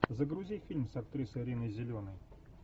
загрузи фильм с актрисой риной зеленой